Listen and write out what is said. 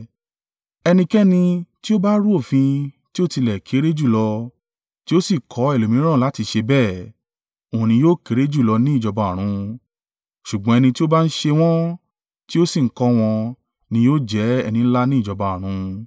Ẹnikẹ́ni ti ó bá rú òfin tí ó tilẹ̀ kéré jùlọ, tí ó sì kọ́ ẹlòmíràn láti ṣe bẹ́ẹ̀, òun ni yóò kéré jùlọ ní ìjọba ọ̀run, ṣùgbọ́n ẹni tí ó bá ń ṣe wọ́n, tí ó sì ń kọ́ wọn, ni yóò jẹ́ ẹni ńlá ní ìjọba ọ̀run.